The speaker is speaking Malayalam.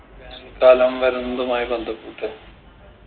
വേനൽക്കാലം വരുന്നതുമായ് ബന്ധപ്പെട്ട്